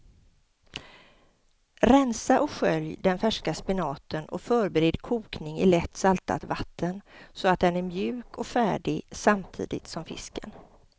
Rensa och skölj den färska spenaten och förbered kokning i lätt saltat vatten så att den är mjuk och färdig samtidigt som fisken.